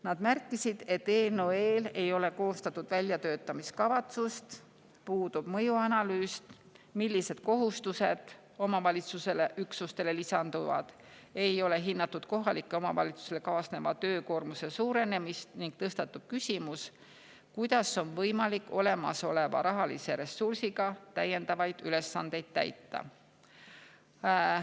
Nad märkisid, et eelnõu eel ei ole koostatud väljatöötamiskavatsust, puudub mõjuanalüüs selle kohta, millised kohustused omavalitsusüksustele lisanduvad, ei ole hinnatud kohalikele omavalitsustele kaasneva töökoormuse suurenemist ning tõstatub küsimus, kuidas on võimalik olemasoleva rahalise ressursiga täiendavaid ülesandeid täita.